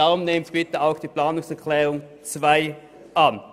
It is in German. Nehmen Sie daher bitte auch den Abänderungsantrag 2 an.